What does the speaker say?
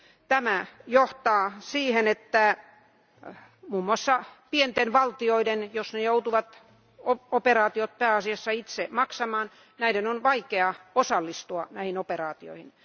Tämä johtaa siihen, että muun muassa pienten valtioiden jos ne joutuvat operaatiot pääasiassa itse maksamaan on vaikea osallistua näihin operaatioihin.